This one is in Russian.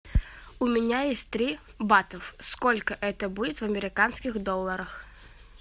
у меня есть три бата сколько это будет в американских долларах